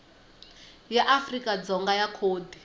ya afrika dzonga ya khodi